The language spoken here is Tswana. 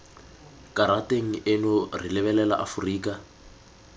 karateng eno re lebelela aforika